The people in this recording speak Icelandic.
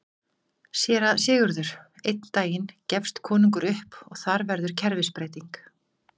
SÉRA SIGURÐUR: Einn daginn gefst konungur upp og þar verður kerfisbreyting!